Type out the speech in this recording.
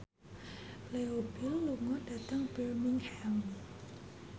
Leo Bill lunga dhateng Birmingham